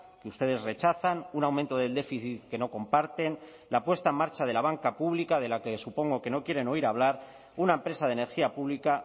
que ustedes rechazan un aumento del déficit que no comparten la puesta en marcha de la banca pública de la que supongo que no quieren oír hablar una empresa de energía pública